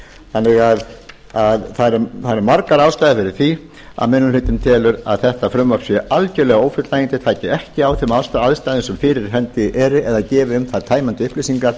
þannig að það eru margar ástæður fyrir því að minni hlutinn telur að þetta frumvarp sé algerlega ófullnægjandi taki ekki á þeim aðstæðum sem fyrir hendi eru eða gefi um það tæmandi upplýsingar